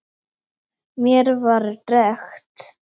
Mér var drekkt.